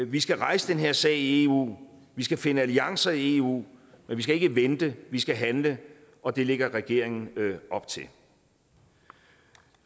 vi skal rejse den her sag i eu vi skal finde alliancer i eu men vi skal ikke vente vi skal handle og det lægger regeringen op til